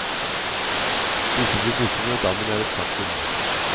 Disse blir borte når dammen er et faktum.